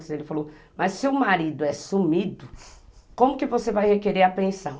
Ele falou, mas se o marido é sumido, como que você vai requerer a pensão?